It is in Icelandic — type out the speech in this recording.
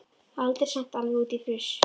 Aldrei samt alveg út í fruss.